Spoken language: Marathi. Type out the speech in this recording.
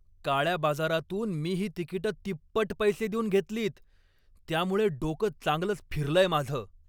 काळ्या बाजारातून मी ही तिकिटं तिप्पट पैसे देऊन घेतलीत त्यामुळे डोकं चांगलंच फिरलंय माझं.